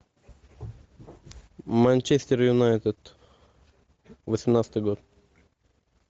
манчестер юнайтед восемнадцатый год